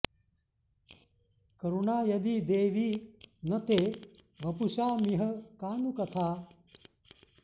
करुणा यदि देवि न ते वपुषामिह का नु कथा